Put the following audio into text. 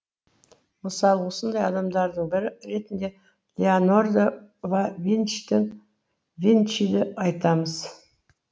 мысалы осындай адамдардың бірі ретінде леонардо да винчиді айтамыз